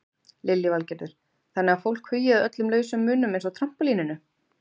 Lillý Valgerður: Þannig að fólk hugi að öllum lausum munum eins og trampólíninu?